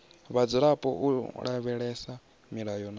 vhadzulapo u lavhelesa milayo na